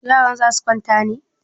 Yaran za su kwanta ne?